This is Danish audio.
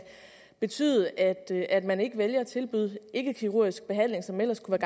betyde at at man ikke vælger at tilbyde ikkekirurgisk behandling som ellers kunne